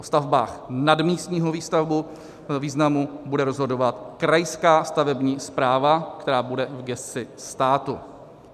O stavbách nadmístního významu bude rozhodovat krajská stavební správa, která bude v gesci státu.